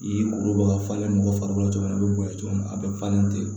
I kuruba ka falen mɔgɔ farikolo a bɛ bonya cogo min a bɛ falen ten